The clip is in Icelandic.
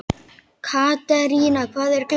Katerína, hvað er klukkan?